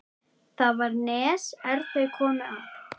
Þar var nes er þeir komu að.